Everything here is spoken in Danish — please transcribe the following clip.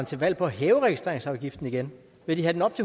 til valg på at hæve registreringsafgiften igen vil de have den op